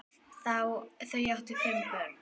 Þau áttu þá fimm börn.